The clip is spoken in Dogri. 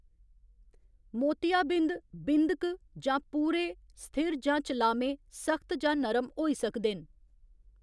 मोतियाबिंद, बिंद क जां पूरे, स्थिर जां चलामे, सख्त जां नरम होई सकदे न।